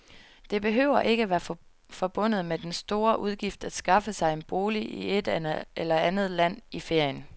Det behøver ikke være forbundet med den store udgift at skaffe sig en bolig i et andet land i ferien.